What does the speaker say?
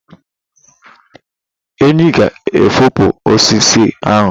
Enyi ga efopụ osisi ahu.